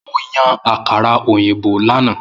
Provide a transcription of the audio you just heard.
Mo yan akara oyinbo lana.